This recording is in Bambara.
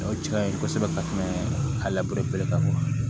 O ja in kosɛbɛ ka tɛmɛ ka lapere ta